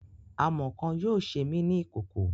Amọ kan yoo ṣe mi ni ikoko.